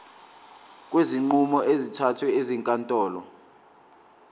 kwezinqumo ezithathwe ezinkantolo